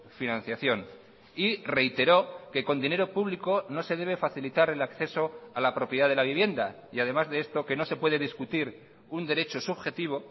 financiación y reiteró que con dinero público no se debe facilitar el acceso a la propiedad de la vivienda y además de esto que no se puede discutir un derecho subjetivo